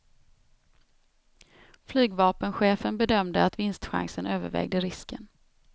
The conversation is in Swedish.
Flygvapenchefen bedömde att vinstchansen övervägde risken.